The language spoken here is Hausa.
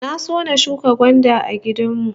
Na so na shuka gwanda a gidan mu